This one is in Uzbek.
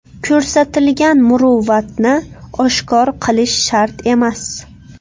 Ko‘rsatilgan muruvvatni oshkor qilish shart emas.